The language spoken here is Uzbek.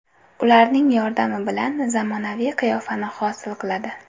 Ularning yordami bilan zamonaviy qiyofani hosil qiladi.